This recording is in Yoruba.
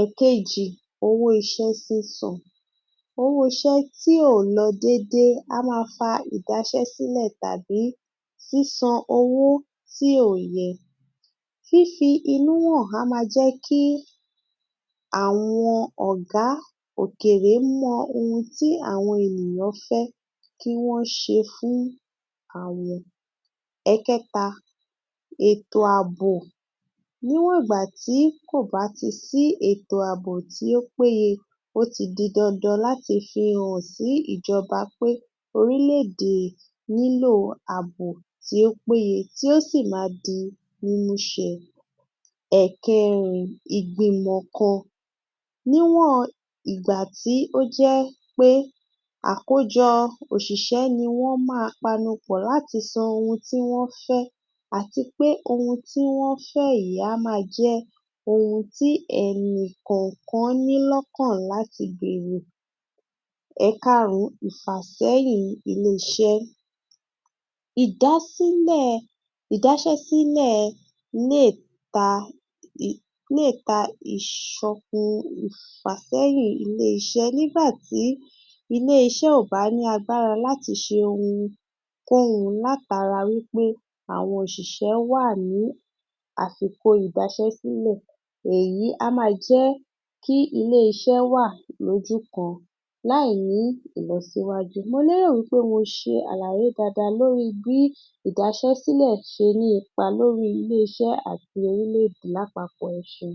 Èkejì owó iṣẹ́ sísan Owó iṣẹ́ tí ò lọ dédé, a máa fa ìdaṣẹ́-sílẹ̀ tàbí sísan owó tí ò yẹ. Fífí inú hàn á ma jẹ́kí àwọn ọ̀gá òkèrè mọ ohun tí àwọn ènìyàn fẹ́ kí wọ́n ṣe fún àwọn. Ẹkẹ̀ta ètò àbò Níwọ̀n ìgbàtí kò bá ti sí ètò àbò tí ó péye, ó ti di dandan láti fi hàn sí ìjọba pé orílè-èdè nílò àbò tí ó péye tí ó sì máa di mímúṣẹ. Ẹkẹ̀rin ìgbìmò kan Níwọ̀n ìgbàtí ó jẹ́ pé àkójọ tí òṣìṣẹ́ niwọ́n máa panupọ̀ láti sọ ohun tí wọ́n fẹ́ àti pé ẹni tí wọ́n fẹ́ yìí, a máa jẹ́ ohun tí ẹnì kọ̀ọ̀kan ní lọ́kàn láti gbèrò. Ẹkàrún-ún ìfàsẹ́yìn ilé-iṣẹ́ Ìdásílẹ̀ ìdaṣẹ́-sílẹ̀ lè ta, lè ta ìṣọgun ìfàsẹ́yìn ilé-iṣẹ́ nígbàtí ilé-iṣẹ́ ò bá ní agbára láti ṣe ohunkóhun látara wí pé àwọn òṣìṣẹ́ wà ní àsìkò ìdáṣẹ́-sílẹ̀. Èyí a máa jẹ́kí ilé-iṣẹ́ wà lójú kan láì ní ìlọsíwájú. Mo lérò wí pé mi ṣe àlàyé dáadáa lórí bí ìdaṣẹ́-sílẹ̀ ṣe ní ipa lórí ilé-iṣẹ́ àti orílè-èdè lápapọ̀. Ẹṣeun